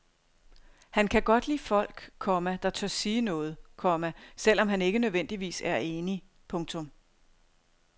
Han kan godt lide folk, komma der tør sige noget, komma selv om han ikke nødvendigvis er enig. punktum